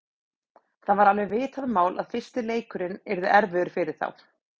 Það var alveg vitað mál að fyrstu leikirnir yrðu erfiðir fyrir þá.